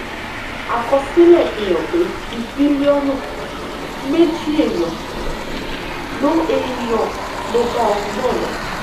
àkọsílẹ̀ fi hàn pé bíi mílíọ̀nù méjì èèyàn ló èèyàn ló bá ogun náà lọ